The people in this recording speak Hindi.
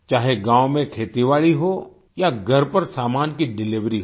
चाहे गाँव में खेतीबाड़ी हो या घर पर सामान की डिलिवरी हो